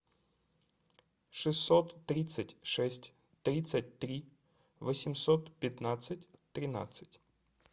шестьсот тридцать шесть тридцать три восемьсот пятнадцать тринадцать